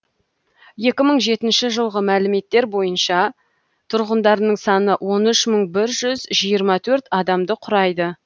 екі мың жетінші жылғы мәліметтер бойынша тұрғындарының саны он үш мың бір жүз жиырма төрт адамды құрайды